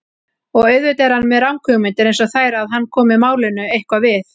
Og auðvitað er hann með ranghugmyndir einsog þær að hann komi málinu eitthvað við.